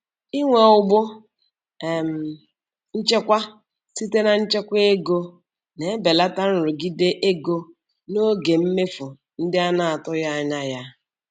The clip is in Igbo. Inwe ụgbụ um nchekwa site na nchekwa ego na-ebelata nrụgide ego n'oge mmefu ndị a na-atụghị anya ya.